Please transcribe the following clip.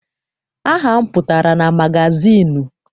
Aha m pụtara na magazịịnụ.